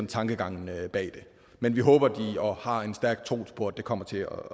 tankegangen bag det men vi håber og har en stærk tro på at det kommer til at